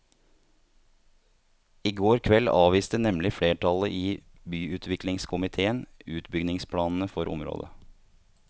I går kveld avviste nemlig flertallet i byutviklingskomitéen utbyggingsplanene for området.